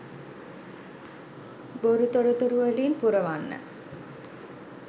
බොරු තොරතුරු වලින් පුරවන්න.